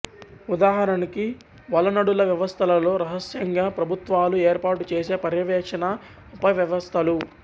ఉదాహరణకి వలనడుల వ్యవస్థలలో రహస్యంగా ప్రభుత్వాలు ఏర్పాటుచెసే పర్యవేక్షణా ఉపవ్యవస్థలు